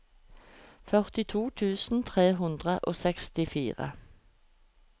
førtito tusen tre hundre og sekstifire